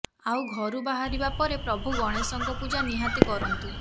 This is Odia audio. ଆଉ ଘରୁ ବାହାରିବା ସମୟରେ ପ୍ରଭୁ ଗଣେଶଙ୍କ ପୂଜା ନିହାତି କରନ୍ତୁ